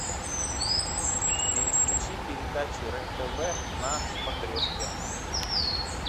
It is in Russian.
переключи передачу рен тв на смотрешке